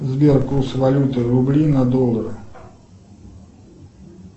сбер курс валюты рубли на доллары